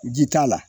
Ji t'a la